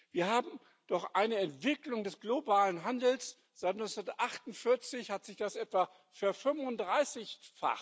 Wir haben doch eine Entwicklung des globalen Handels, seit 1948 hat sich das etwa verfünfunddreißigfacht.